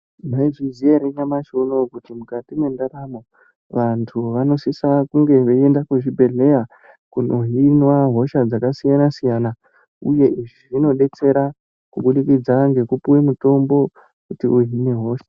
Mwaizviziya ere kuti nyamashi unou mukati mwendaramo vanhu vanosise kuende kuzvibhedhlera veihinwa hosha dzakasiyana siyana uye zvinodetsera kubudikidza ngekupuwe mitombo yekuhine hosha